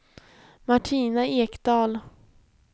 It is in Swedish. Martina Ekdahl